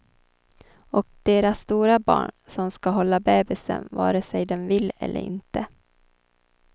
Och deras stora barn, som ska hålla bebisen vare sig den vill eller inte.